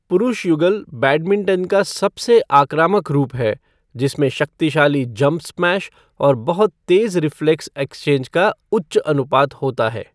पुरुष युगल बैडमिंटन का सबसे आक्रामक रूप है, जिनमे शक्तिशाली जंप स्मैश और बहुत तेज़ रिफ़्लेक्स एक्सचेंज का उच्च अनुपात होता है।